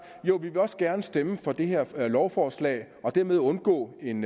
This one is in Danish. jo vi vil også gerne stemme for det her lovforslag og dermed undgå en